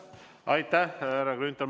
Aitäh, härra Grünthal!